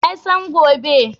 Wa ya san gobe?